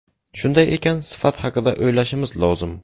Shunday ekan, sifat haqida o‘ylashimiz lozim.